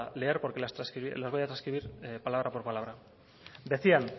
leer las voy a trascribir palabra por palabra decían